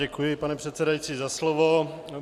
Děkuji, pane předsedající, za slovo.